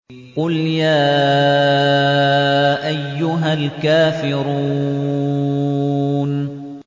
قُلْ يَا أَيُّهَا الْكَافِرُونَ